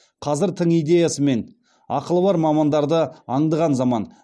қазір тың идеясы мен ақылы бар мамандарды аңдыған заман